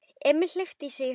Emil hleypti í sig hörku.